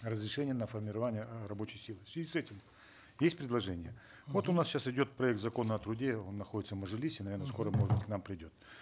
разрешение на формирование э рабочей силы в связи с этим есть предложение вот у нас сейчас идет проект закона о труде он находится в мажилисе наверно скоро может быть к нам придет